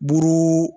Buru